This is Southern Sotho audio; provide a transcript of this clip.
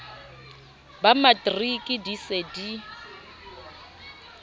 ba matriki di se di